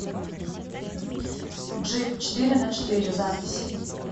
джип четыреначетыре запись